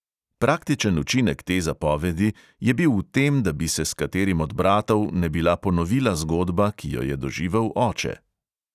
Praktičen učinek te zapovedi je bil v tem, da bi se s katerim od bratov ne bila ponovila zgodba, ki jo je doživel oče.